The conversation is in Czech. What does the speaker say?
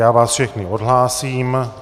Já vás všechny odhlásím.